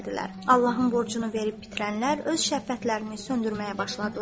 Allahın borcunu verib bitirənlər öz şəhvətlərini söndürməyə başladılar.